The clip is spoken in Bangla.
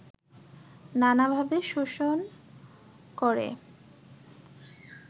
নানাভাবে শোষণ করে